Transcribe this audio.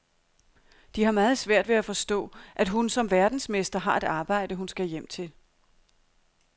De har meget svært ved at forstå, at hun som verdensmester har et arbejde, hun skal hjem til.